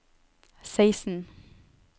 seksten